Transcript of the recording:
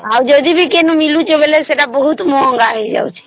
ଯଦି ମିଲୁଛେ ବୋଇଲେ ସେତ ବହୁତ ମହଙ୍ଗା ହେଇ ଯାଉଛେ